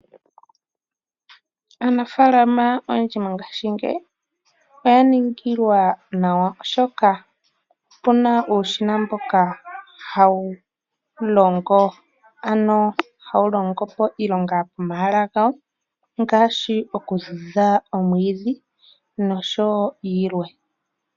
Aanafaalama oyendji mongashingeyi oyaningilwa nawa oshoka opuna uushina mboka hawu longo ano hawu longo po iilonga pomahala gawo ngaashi okuvudha omwiidhi noshowo iilwa